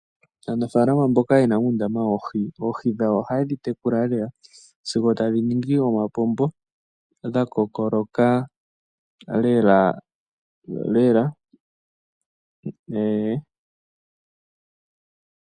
Aanafalama mboka ye na uundama woohi, oohi dhawo ohaye dhi tekula lela sigo tadhi ningi omapombo, dha kokoloka lelalela.